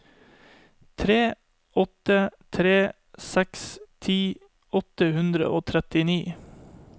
tre åtte tre seks ti åtte hundre og trettini